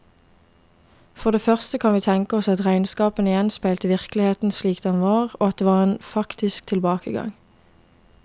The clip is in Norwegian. For det første kan vi tenke oss at regnskapene gjenspeilte virkeligheten slik den var, og at det var en faktisk tilbakegang.